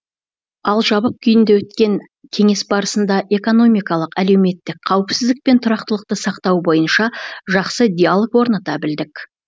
ал жабық күйінде өткен кеңес барысында экономикалық әлеуметтік қауіпсіздік пен тұрақтылықты сақтау бойынша жақсы диалог орната білдік